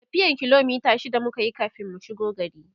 tafiyan kilomita shida mukayi kamin mu shigo gari